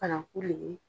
Fana kule